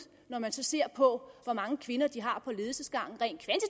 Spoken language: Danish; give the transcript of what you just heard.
når man så ser på hvor mange kvinder de har på ledelsesgangen rent